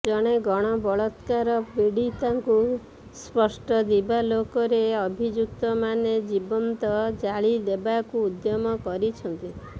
ଜଣେ ଗଣବଳାତ୍କାର ପୀଡ଼ିତାଙ୍କୁ ସ୍ପଷ୍ଟ ଦିବାଲୋକରେ ଅଭିଯୁକ୍ତମାନେ ଜୀବନ୍ତ ଜାଳିଦେବାକୁ ଉଦ୍ୟମ କରିଛନ୍ତି